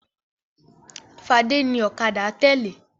Fadé ní ọ̀kadà tẹ́lẹ̀.